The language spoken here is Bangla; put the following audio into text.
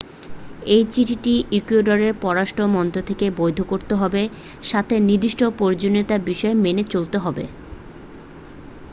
এই চিঠিটি ইকুয়েডরের পররাষ্ট্র মন্ত্রক থেকে বৈধ করতে হবে সাথে নির্দিষ্ট প্রয়োজনীয়ত বিষয় মেনে চলতে হবে